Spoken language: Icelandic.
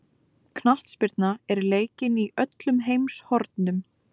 Knattspyrna er leikin í öllum heimshornum.